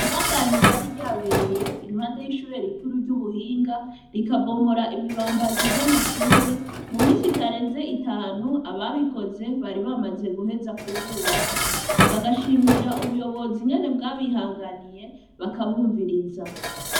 Isanganya ryari ryabereye iruhande y'ishure rikuru ry'ubuhinga, rikabomora ibibambazi vy'amashure, mumisi itarenze itanu, ababikoze bari bamaze guheza kuhubaka, bagashimira ubuyobozi ingene bwabihanganiye bakabumviriza.